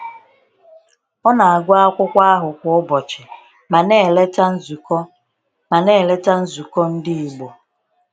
Ọ na-agụ akwụkwọ ahụ kwa ụbọchị ma na-eleta nzukọ ma na-eleta nzukọ ndị Igbo.